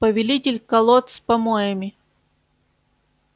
повелитель колод с помоями